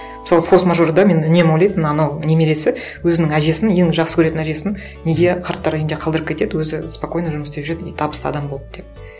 мысалы форс мажорда мен үнемі ойлайтынмын анау немересі өзінің әжесін ең жақсы көретін әжесін неге қарттар үйінде қалдырып кетеді өзі спокойно жұмыс істеп жүреді и табысты адам болып деп